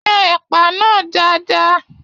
Yàn ẹpa náà dáadáa!